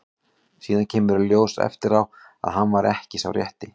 Síðan kemur í ljós eftir á að hann var ekki sá rétti.